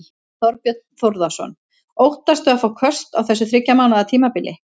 Þorbjörn Þórðarson: Óttastu að fá köst á þessu þriggja mánaða tímabili?